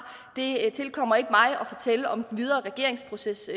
det tilkommer ikke mig at fortælle om den videre regeringsproces